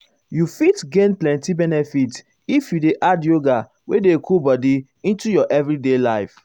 you fit gain plenty benefit if you dey add yoga wey dey cool body into your everyday life.